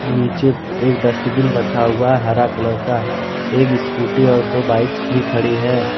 नीचे एक डस्टबिन रखा हुआ है हरा कलर का एक स्कूटी और दो बाइक्स भी खड़ी है।